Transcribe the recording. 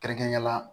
Kɛrɛnkɛrɛnnenya la